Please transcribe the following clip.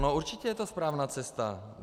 No určitě je to správná cesta.